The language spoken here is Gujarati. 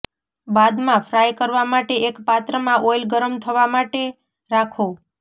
બાદ મા ફ્રાય કરવા માટે એક પાત્ર મા ઓઈલ ગરમ થવા માતે રાખો